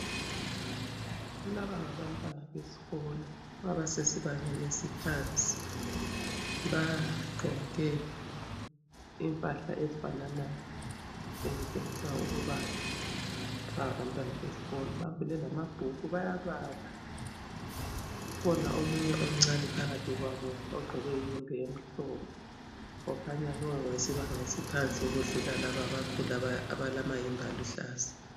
Laba ngabantwana besikolo abasebangeni eliphansi bagqoke impahla ezifananayo ezitshengisa ukuba ngabantwana besikolo bavule lamabhuku bayabala, ukhona omunye omncane phakathi kwabo ogqoke iyembe emhlophe okhanya lo ngowesibanga esiphansi kudlula laba abakhulu abalamayembe aluhlaza.